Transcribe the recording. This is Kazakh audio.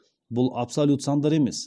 бұл абсолют сандар емес